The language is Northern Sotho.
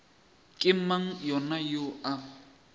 ke mang yena yoo a